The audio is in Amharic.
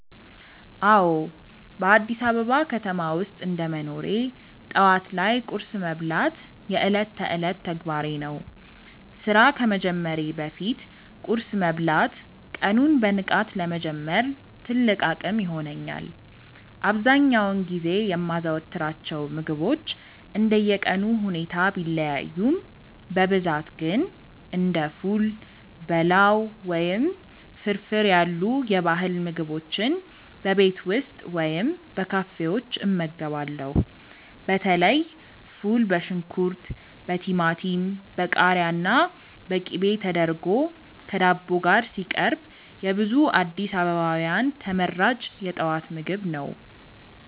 አዎ፣ በአዲስ አበባ ከተማ ውስጥ እንደ መኖሬ ጠዋት ላይ ቁርስ መብላት የዕለት ተዕለት ተግባሬ ነው። ስራ ከመጀመሬ በፊት ቁርስ መብላት ቀኑን በንቃት ለመጀመር ትልቅ አቅም ይሆነኛል። አብዛኛውን ጊዜ የማዘወትራቸው ምግቦች እንደየቀኑ ሁኔታ ቢለያዩም፣ በብዛት ግን እንደ ፉል፣ በላው ወይም ፍርፍር ያሉ የባህል ምግቦችን በቤት ውስጥ ወይም በካፌዎች እመገባለሁ። በተለይ ፉል በሽንኩርት፣ በቲማቲም፣ በቃሪያና በቅቤ ተደርጎ ከዳቦ ጋር ሲቀርብ የብዙ አዲስ አበባውያን ተመራጭ የጠዋት ምግብ ነው።